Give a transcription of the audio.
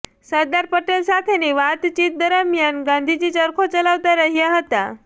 સરદાર પટેલ સાથેની વાતચીત દરમિયાન ગાંધીજી ચરખો ચલાવતા રહ્યા હતા